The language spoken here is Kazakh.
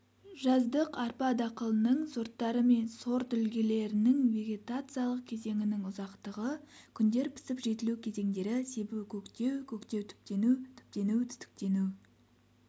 жаздық арпа дақылының сорттары мен сортүлгілерінің вегетациялық кезеңінің ұзақтығы күндер пісіп-жетілу кезеңдері себу-көктеу көктеу-түптену түптену-түтіктену